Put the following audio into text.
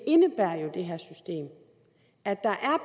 indebærer jo at der er